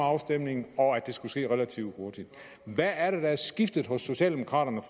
afstemningen og at det skulle ske relativt hurtigt hvad er det der er skiftet hos socialdemokraterne